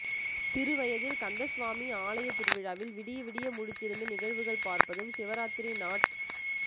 சிறுவயதில் கந்தசுவாமி ஆலய திருவிழாவில் விடிய விடிய முழித்திருந்து நிகழ்வுகள் பார்ப்பதும் சிவராத்திரி நாட்